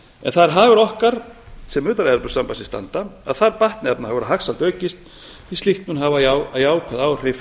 það er hagur okkar sem utan evrópusambandsins standa að þar batni efnahagur og hagsæld aukist því að slíkt mun hafa jákvæð áhrif